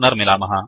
पुनर्मिलामः ॥